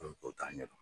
t'a ɲɛ dɔn